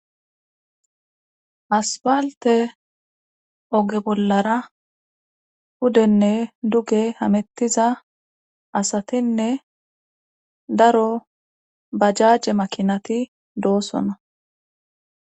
Aspalte oge bollara pudenne duge hamettiza asatinne daro bajaje makinati doosona.